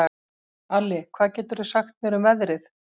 Alli, hvað geturðu sagt mér um veðrið?